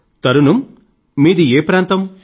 తరన్నుమ్ మీది ఏ ప్రాంతం